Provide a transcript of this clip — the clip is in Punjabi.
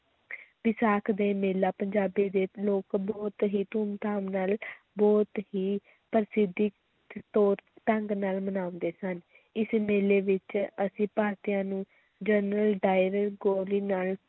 ਵਿਸਾਖ ਦੇ ਮੇਲਾ, ਪੰਜਾਬੀ ਦੇ ਲੋਕ ਬਹੁਤ ਹੀ ਧੂਮ ਧਾਮ ਨਾਲ ਬਹੁਤ ਹੀ ਪ੍ਰਸਿੱਧ ਤੌਰ ਢੰਗ ਨਾਲ ਮਨਾਉਂਦੇ ਸਨ, ਇਸ ਮੇਲੇ ਵਿੱਚ ਅਸੀਂ ਭਾਰਤੀਆਂ ਨੂੰ ਜਨਰਲ ਡਾਇਰ ਗੋਲੀ ਨਾਲ